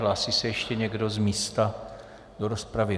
Hlásí se ještě někdo z místa do rozpravy?